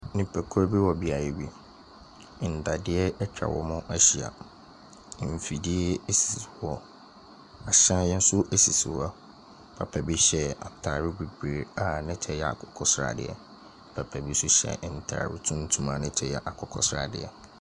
Nnipakuo bi wɔ beaeɛ bi. Nnadeɛ atwa wɔn ho ahyia. Mfidie sisi hɔ. Ahyɛn nso sisi hɔ. Papa bi hyɛ atare bibire a ne kyɛ yɛ akokɔ sradeɛ. Papa bi nso hyɛ atare tuntum a ne kyɛ yɛ akokɔ sradeɛ.